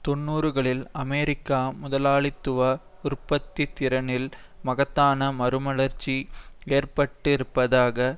தொன்னூறுகளில் அமெரிக்க முதலாளித்துவ உற்பத்தித்திறனில் மகத்தான மறுமலர்ச்சி ஏற்பட்டிருப்பதாக